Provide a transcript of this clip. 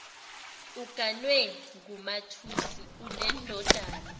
uganwe ngumathusi unendodana